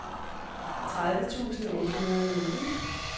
tredive tusind otte hundrede og nitten